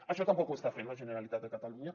això tampoc ho està fent la generalitat de catalunya